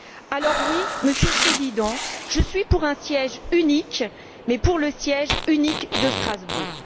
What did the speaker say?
Alors, oui, Monsieur le Président, je suis pour un siège unique mais pour le siège unique de Strasbourg!